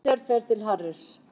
Peter fer til Harrys.